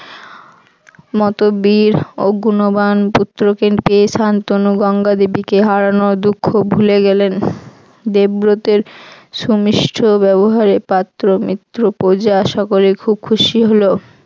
মত বীর ও গুণবাণ পুত্রকে পেয়ে শান্তনু গঙ্গা দেবীকে হারানোর দুঃখ ভুলে গেলেন। দেবব্রতের সুমিষ্ট ব্যবহারে পাত্র মিত্র প্রজা সকলেই খুব খুশি হল।